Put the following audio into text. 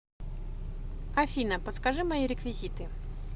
афина подскажи мои реквизиты